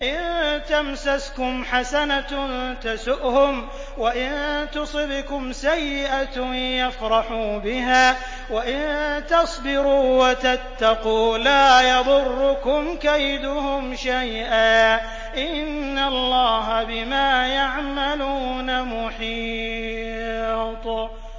إِن تَمْسَسْكُمْ حَسَنَةٌ تَسُؤْهُمْ وَإِن تُصِبْكُمْ سَيِّئَةٌ يَفْرَحُوا بِهَا ۖ وَإِن تَصْبِرُوا وَتَتَّقُوا لَا يَضُرُّكُمْ كَيْدُهُمْ شَيْئًا ۗ إِنَّ اللَّهَ بِمَا يَعْمَلُونَ مُحِيطٌ